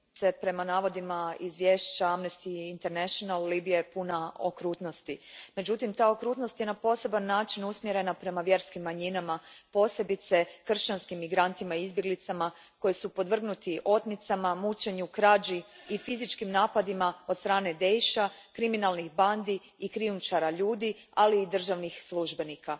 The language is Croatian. Gospođo predsjednice, prema navodima izvješća Amnesty Internationala Libija je puna okrutnosti. Međutim, ta okrutnost je na poseban način usmjerena prema vjerskim manjinama, posebice kršćanskim migrantima i izbjeglicama koji su podvrgnuti otmicama, mučenju, krađi i fizičkim napadima od strane Daesh a, kriminalnih bandi i krijumčara ljudi, ali i državnih službenika.